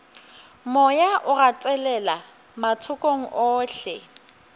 moya o gatelela mathokong ohle